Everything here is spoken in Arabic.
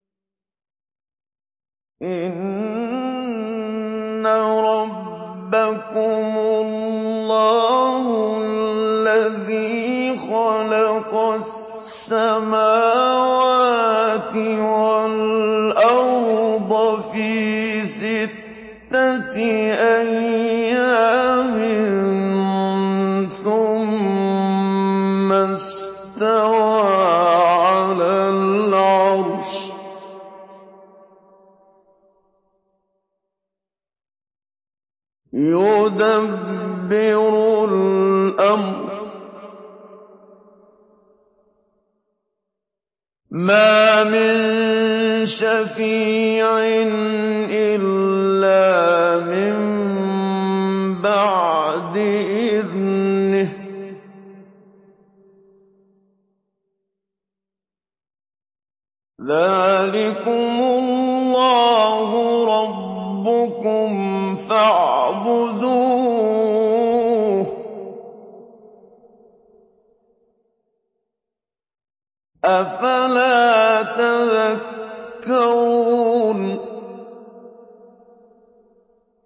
إِنَّ رَبَّكُمُ اللَّهُ الَّذِي خَلَقَ السَّمَاوَاتِ وَالْأَرْضَ فِي سِتَّةِ أَيَّامٍ ثُمَّ اسْتَوَىٰ عَلَى الْعَرْشِ ۖ يُدَبِّرُ الْأَمْرَ ۖ مَا مِن شَفِيعٍ إِلَّا مِن بَعْدِ إِذْنِهِ ۚ ذَٰلِكُمُ اللَّهُ رَبُّكُمْ فَاعْبُدُوهُ ۚ أَفَلَا تَذَكَّرُونَ